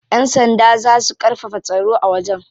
Yan sanda za su karfafa tsaro a wajen.